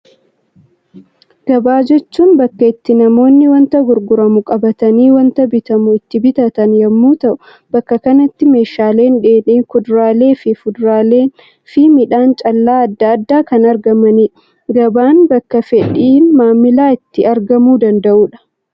Gabaa jechuun bakka itti namoonni wanta gurguramu qabatanii, wanta bitamu itti bitatan yemmuu ta'u, bakka kanatti meeshaaleen dheedhii, kuduraaleen, fuduraaleenii fi midhaan callaa addaa addaa kan argamanidha. Gabaan bakka fedhiin maamilaa itti argamuu danda'udha.